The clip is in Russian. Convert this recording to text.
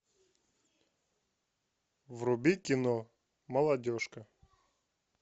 вруби кино молодежка